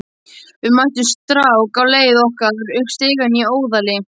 Við mættum strák á leið okkar upp stigann í Óðali.